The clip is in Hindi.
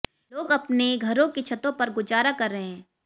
लोग अपने घरों की छतों पर गुजारा कर रहे हैं